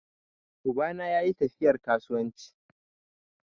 Uba na yayi tafiyar kasuwanci.